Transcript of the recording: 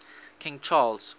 king charles